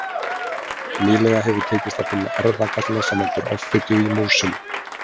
Nýlega hefur tekist að finna erfðagalla sem veldur offitu í músum.